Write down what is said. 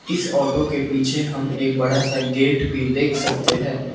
इस ऑटो के पीछे हम एक बड़ासा गेट भी देख सकते हैं।